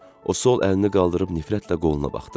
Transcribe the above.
O sol əlini qaldırıb nifrətlə qoluna baxdı.